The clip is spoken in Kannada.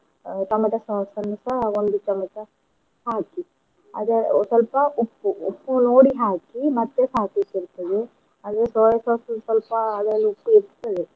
tomato sauce ನ್ನುಸ ಒಂದು ಚಮಚ ಹಾಕಿ ಅದ ಸ್ವಲ್ಪ ಉಪ್ಪು, ಉಪ್ಪು ನೋಡಿ ಹಾಕಿ ಮತ್ತೇ ಹಾಕ್ಲಿಕ್ ಇರ್ತದೆ ಅದೆ soya sauce ಅಲ್ಲ ಸ್ವಲ್ಪ ಅದ್ರಲ್ ಉಪ್ಪು ಇರ್ತದೆ.